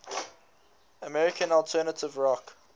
american alternative rock